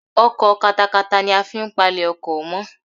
Ọkọ̀ katakata ni a fi n palẹ̀ oko mọ́